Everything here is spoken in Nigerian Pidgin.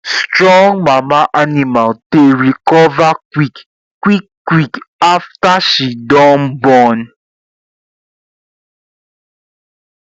strong mama animal dey recover quick quick quick after she don born